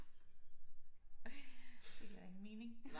Det giver ingen mening